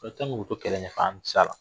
k'o to kɛlɛ ɲɛfɛ k'an tɛ se a la